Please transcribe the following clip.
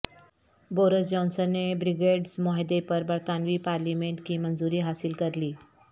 Boris Johnson نے Brexit معاہدے پر برطانوی پارلیمنٹ کی منظوری حاصل کرلی